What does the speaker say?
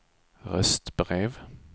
röstbrev